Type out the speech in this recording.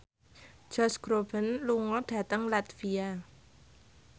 Josh Groban lunga dhateng latvia